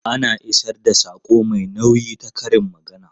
Ana isar da saƙo mai nauyi ta karin magana.